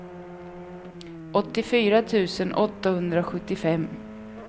åttiofyra tusen åttahundrasjuttiofem